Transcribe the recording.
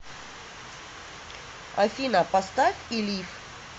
афина поставь илиф